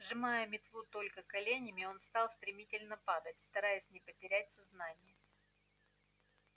сжимая метлу только коленями он начал стремительно падать стараясь не потерять сознание